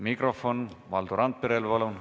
Mikrofon Valdo Randperele, palun!